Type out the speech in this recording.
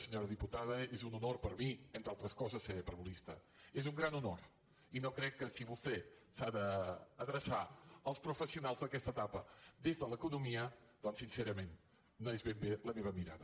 senyora diputada és un honor per a mi entre altres coses ser parvulista és un gran honor i no crec que si vostè s’ha d’adreçar als professionals d’aquesta etapa des de l’economia doncs sincerament no és ben bé la meva mirada